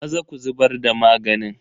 Maza ka zubar da maganin.